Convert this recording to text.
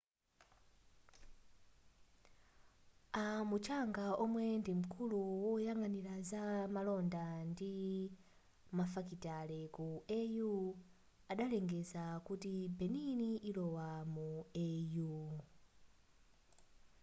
a muchanga omwe ndimkulu woyang'anira za malonda ndi mafakitale ku au adalengeza kuti benin ilowa mu au